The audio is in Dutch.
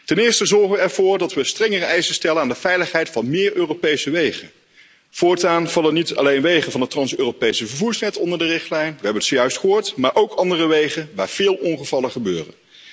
Ten eerste zorgen we ervoor dat we strengere eisen stellen aan de veiligheid van meer Europese wegen. Voortaan vallen niet alleen wegen van het trans Europese vervoersnet onder de richtlijn we hebben het zojuist gehoord maar ook andere wegen waar veel ongevallen gebeuren.